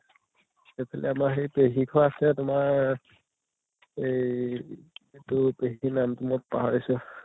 কি আছিলে আমাৰ হেই পেহী আছে তোমাৰ এই এইটো পাহীৰ নাম্টো মই পাহৰিছো